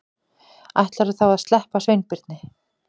Ætlarðu þá að sleppa Sveinbirni?